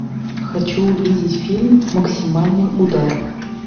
хочу увидеть фильм максимальный удар